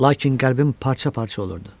Lakin qəlbim parça-parça olurdu.